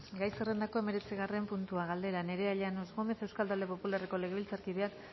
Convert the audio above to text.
gai zerrendako hemeretzigarren puntua galdera nerea llanos gómez euskal talde popularreko legebiltzarkideak